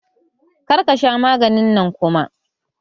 Kar ka sha maganin nan kuma!